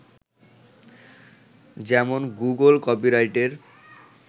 যেমন গুগল কপিরাইটের